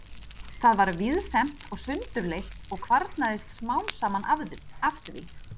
Það var víðfeðmt og sundurleitt og kvarnaðist smám saman af því.